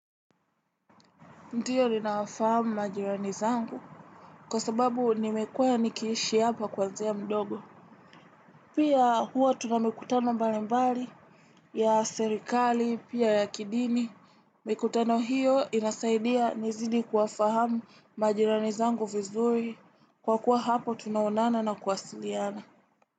Ndio nina wafahamu majirani zangu kwa sababu nimekuwa nikihishi hapa kwanzia mdogo. Pia huo tuna mikutano mbalimbali ya serikali pia ya kidini. Mikutano hiyo inasaidia nizidi kuwafahamu majirani zangu vizuri kwa kuwa hapo tunaonana na kuwasiliana.